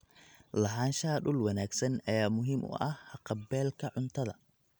Lahaanshaha dhul wanaagsan ayaa muhiim u ah haqab-beelka cuntada.